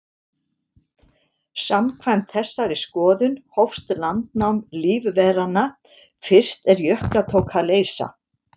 Samkvæmt þessari skoðun hófst landnám lífveranna fyrst er jökla tók að leysa.